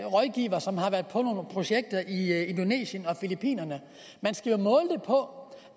rådgivere som har været på projekter i indonesien og filippinerne man skal jo måle det på